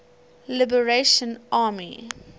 liberation army spla